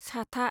साता